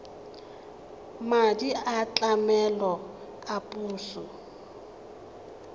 madi a tlamelo a puso